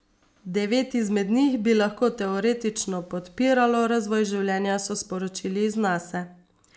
Devet izmed njih bi lahko teoretično podpiralo razvoj življenja, so sporočili z Nase.